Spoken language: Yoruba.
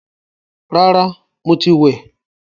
Rárá, mo ti wẹ̀